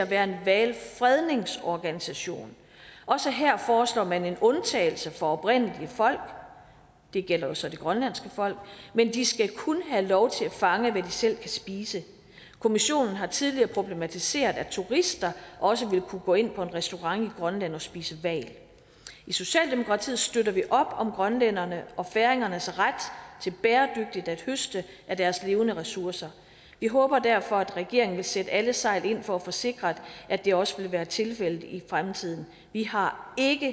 være en hvalfredningsorganisation også her foreslår man en undtagelse for oprindelige folk det gælder jo så det grønlandske folk men de skal kun have lov til at fange hvad de selv kan spise kommissionen har tidligere problematiseret at turister også vil kunne gå ind på en restaurant i grønland og spise hval i socialdemokratiet støtter vi op om grønlænderne og færingernes ret til bæredygtigt at høste af deres levende ressourcer vi håber derfor at regeringen vil sætte alle sejl til for at få sikret at det også vil være tilfældet i fremtiden vi har ikke